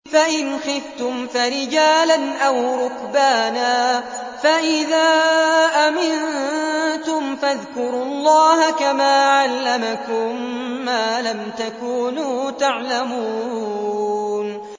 فَإِنْ خِفْتُمْ فَرِجَالًا أَوْ رُكْبَانًا ۖ فَإِذَا أَمِنتُمْ فَاذْكُرُوا اللَّهَ كَمَا عَلَّمَكُم مَّا لَمْ تَكُونُوا تَعْلَمُونَ